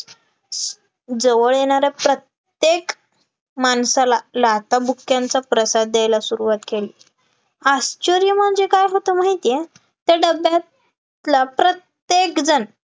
जवळ येणाऱ्या प्रत्येक माणसाला लाथाबुक्क्यांचा प्रसाद द्यायला सुरुवात केली, आश्चर्य म्हणजे काय होतं माहितीये ते डब्यातला प्रत्येकजण